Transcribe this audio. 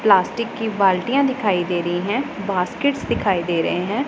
Plastic की बाल्टियां दिखाई दे रही हैं बास्केट्स से दिखाई दे रहे हैं।